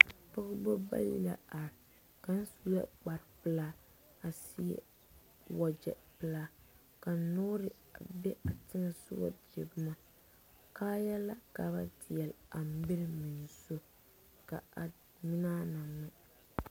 Pɔgɔbɔ bayi la are. Kang su la kpar pulaa a seɛ wagyɛ pulaa. Ka noore a be a teŋsɔ a dire boma. Kaaya la ka ba diɛli a mir meŋ zu. Ka a ŋmnaa na ŋmɛ.